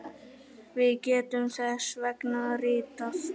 Við getum þess vegna ritað